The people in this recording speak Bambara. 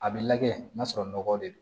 A bɛ lajɛ n'a sɔrɔ nɔgɔ de don